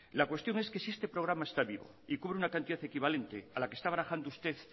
la cuestión es que si este programa está vivo y cubre una cantidad equivalente a la que está barajando usted